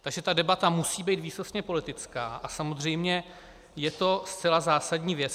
Takže ta debata musí být výsostně politická a samozřejmě je to zcela zásadní věc.